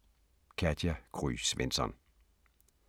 Katja Gry Svensson